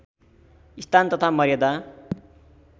स्थान तथा मर्यादा